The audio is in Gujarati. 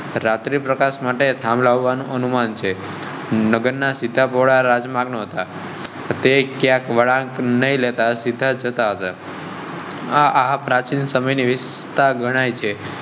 રાત્રી પ્રકાશ માટે નું અનુમાન છે. નગરના સીધા ભોળા રાજમાર્ગ ન હતા. નઈ લેતા સીધા જતા તા. હા હા, પ્રાચીન સમયની ગણાય છે.